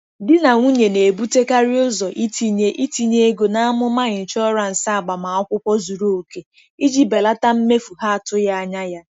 Di na nwunye na-ebutekarị ụzọ itinye itinye ego na amụma ịnshọansị agbamakwụkwọ zuru oke iji belata mmefu ha atụghị anya ya.